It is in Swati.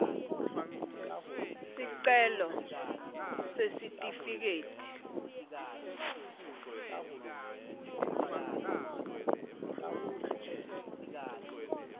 sicelo sesitifiketi